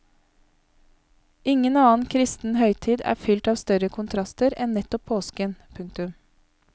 Ingen annen kristen høytid er fylt av større kontraster enn nettopp påsken. punktum